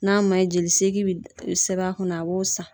N'a man ɲi jelisegi bi sɛbɛn a kunna a b'o san.